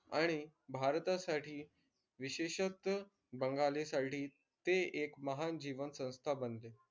आणि भारतासाठी विशेषक बंगालीसाठी ते एक महान जीवनसंस्था बनले.